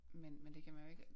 Men men det kan man jo ikke